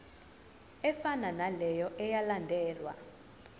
efanayo naleyo eyalandelwa